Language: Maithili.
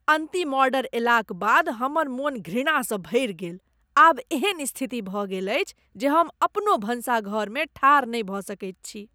अन्तिम ऑर्डर अयलाक बाद हमर मन घृणासँ भरि गेल। आब एहन स्थिति भऽ गेल अछि जे हम अपनो भनसाघरमे ठाढ़ नहि भऽ सकैत छी।